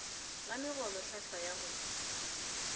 la megolo hlhlwa ya go